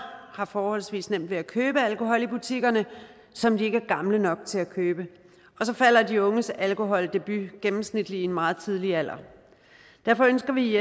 har forholdsvis nemt ved at købe alkohol i butikkerne som de ikke er gamle nok til at købe og så falder de unges alkoholdebut gennemsnitligt i en meget tidlig alder derfor ønsker vi